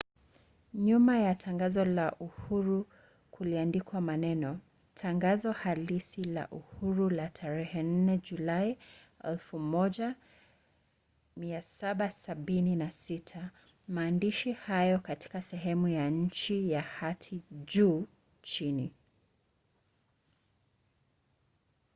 nyuma ya tangazo la uhuru kuliandikwa maneno tangazo halisi la uhuru la tarehe 4 julai 1776”. maandishi hayo yako katika sehemu ya chini ya hati juu chini